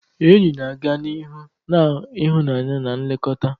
Enyi na-aga n'ihu na ịhụnanya na nlekọta.